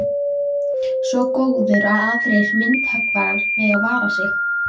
Svo góður að aðrir myndhöggvarar mega vara sig.